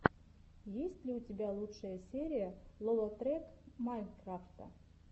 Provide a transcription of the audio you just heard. есть ли у тебя лучшая серия лолотрек майнкрафта